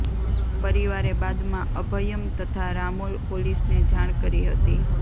પરિવારે બાદમાં અભયમ તથા રામોલ પોલીસને જાણ કરી હતી